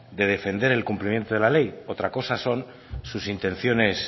de defender el cumplimiento de la ley otra cosa son sus intenciones